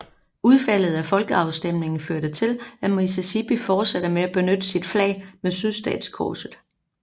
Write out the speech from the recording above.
Udfaldet af folkeafstemningen førte til at Mississippi fortsatte med at benytte sit flag med sydstatskorset